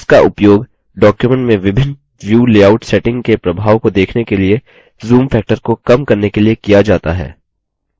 इसका उपयोग document में विभिन्न view लेआउट settings के प्रभाव को देखने के लिए zoom factor को कम करने के लिए किया जाता है